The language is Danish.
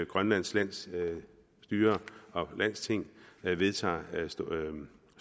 grønlands landsstyre og landsting vedtager